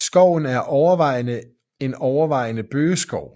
Skoven er overvejende en overvejende bøgeskov